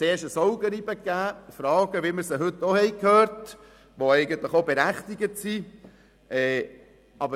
Zuerst führte dies zu Augenreiben und zu Fragen, wie wir sie heute auch gehört haben und die durchaus berechtigt sind.